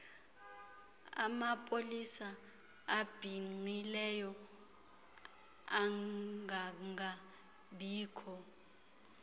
amapolisa abhinqileyo angangabikho